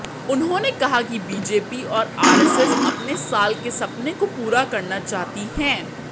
उन्होंने कहा कि बीजेपी और आरएसएस अपने साल के सपने को पूरा करना चाहती हैं